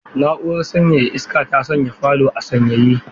Na'urar sanyaya iska ta sanya falo a sanyaye.